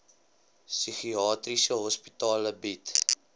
psigiatriese hospitale bied